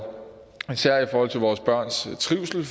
især i forhold til vores børns trivsel